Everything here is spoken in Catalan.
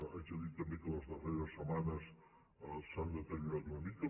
haig de dir també que en les darreres setmanes s’han deteriorat una mica